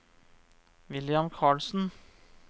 William Carlsen